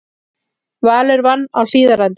Valur vann á Hlíðarenda